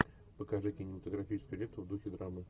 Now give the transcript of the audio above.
покажи кинематографическую ленту в духе драмы